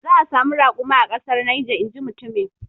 Za a samu rakuma a kasar Niger inji mutumin.